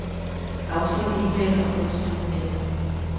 Afsend e-mail og gå til dokument.